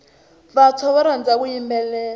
vantshwa va rhandza ku yimbelela